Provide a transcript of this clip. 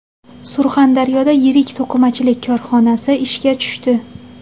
Surxondaryoda yirik to‘qimachilik korxonasi ishga tushdi.